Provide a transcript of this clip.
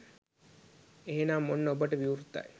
එහෙනම් ඔන්න ඔබට විවෘත්තයි